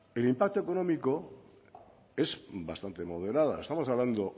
el impacto económico es bastante moderado estamos hablando